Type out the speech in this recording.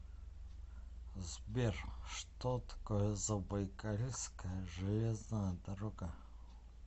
сбер что такое забайкальская железная дорога